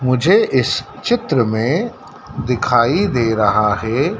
मुझे इस चित्र में दिखाई दे रहा है।